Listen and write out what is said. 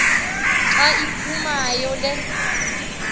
xa iphumayo le